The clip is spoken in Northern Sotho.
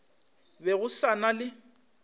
be go sa na le